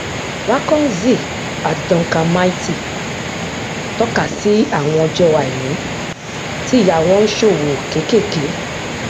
waconzy àti duncan mighty tọkasí àwọn ọjọ àìní tí ìyá wọn ń ṣòwò kékèké